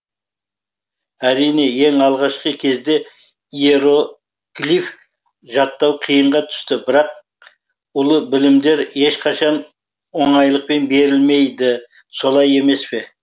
әрине ең алғашқы кезде иеро глиф жаттау қиынға түсті бірақ ұлы білімдер ешқашан оңайлықпен берілмейді солай емес па